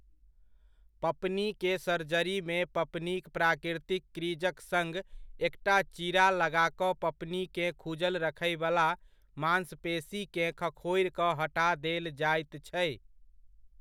पपनीके सर्जरीमे पपनीक प्राकृतिक क्रीजक सङ्ग एकटा चीरा लगा कऽ पपनीकेँ खुजल रखैवला मांसपेशीकेँ खखोरि कऽ हटा देल जाइत छै।